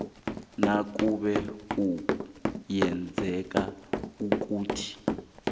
nakube kuyenzeka ukuthi